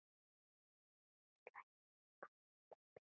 Níu slagir og næsta spil.